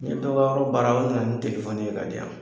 N ye dɔ ka yɔrɔ baara o na na nin telefɔni ye ka di yan.